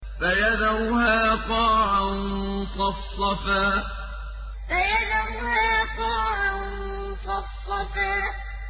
فَيَذَرُهَا قَاعًا صَفْصَفًا فَيَذَرُهَا قَاعًا صَفْصَفًا